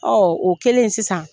o kelen sisan